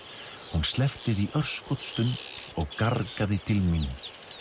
hún sleppti því örskotsstund og gargaði til mín